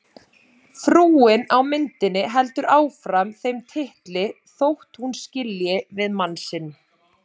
Frúin á myndinni heldur áfram þeim titli þótt hún skilji við mann sinn.